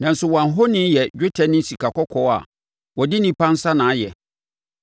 Nanso wɔn ahoni yɛ dwetɛ ne sikakɔkɔɔ a wɔde onipa nsa na ayɛ.